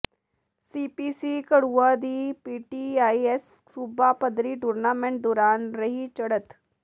CPC Gharuan ਦੀ PTIS ਸੂਬਾ ਪੱਧਰੀ ਟੂਰਨਾਮੈਂਟ ਦੌਰਾਨ ਰਹੀ ਚੜਤ